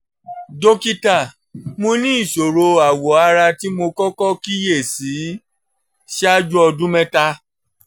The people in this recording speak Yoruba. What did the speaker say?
dókítà mo ní ìṣòro awọ ara tí mo kọ́kọ́ kíyè sí ṣáájú ọdún mẹ́ta